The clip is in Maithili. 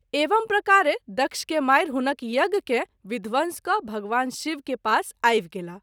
एवं प्रकारे दक्ष के मारि हुनक यज्ञ के विध्वंस क’ भगवान शिव के पास आवि गेलाह।